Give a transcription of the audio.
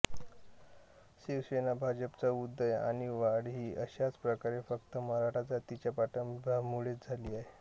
शिवसेनाभाजपचा उदय आणि वाढ ही अशाच प्रकारे फक्त मराठा जातीच्या पाठिंब्यामुळेच झाली आहे